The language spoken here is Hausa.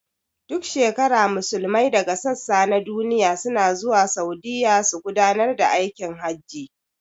Duk shekara Musulmai daga sassa na duniya suna zuwa Saudiya su gudanar da aikin hajji